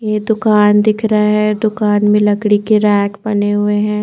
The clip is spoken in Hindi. ये दुकान दिख रहा है दुकान मे लकड़ी के रैक बने हुए है।